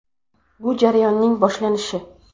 Bu jarayonning boshlanishi.